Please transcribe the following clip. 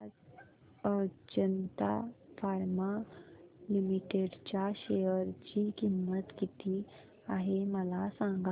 आज Ajanta pharma limited च्या share ची किंमत किती आहे मला सांगा